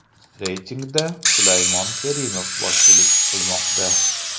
Reytingda Sulaymon Kerimov boshchilik qilmoqda.